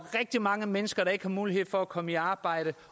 rigtig mange mennesker der ikke har mulighed for at komme i arbejde